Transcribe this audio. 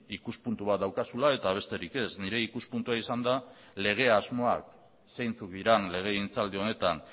ikuspuntu bat daukazula eta besterik ez nire ikuspuntua izan da lege asmoak zeintzuk diren legegintzaldi honetan